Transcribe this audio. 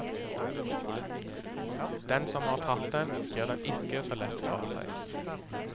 Den som har tatt den, gir den ikke så lett fra seg.